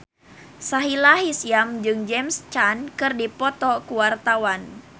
Sahila Hisyam jeung James Caan keur dipoto ku wartawan